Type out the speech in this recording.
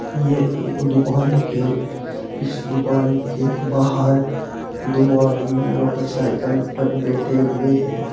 ये एक दुकान है इस दुकान के बाहर दो आदमी मोटरसाइकिल पर बैठे हुए हैं।